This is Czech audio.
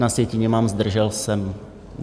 Na sjetině mám zdržel se.